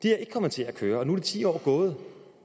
er ikke kommet til at køre og nu er de ti år gået